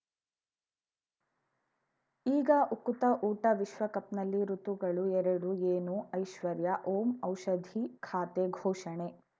ಈಗ ಉಕುತ ಊಟ ವಿಶ್ವಕಪ್‌ನಲ್ಲಿ ಋತುಗಳು ಎರಡು ಏನು ಐಶ್ವರ್ಯಾ ಓಂ ಔಷಧಿ ಖಾತೆ ಘೋಷಣೆ